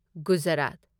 Gujarat